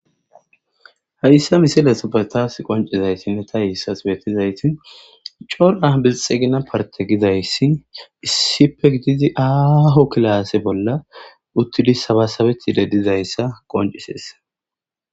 hayssa misilesobetaas qoncizaytinne ta hiissas beetizaytin cora bilxegina parte gidayssi issipe gidizi aaho kilaase bolla uttidi sabasabethide dizayssa qonciseesa